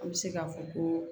An bɛ se k'a fɔ ko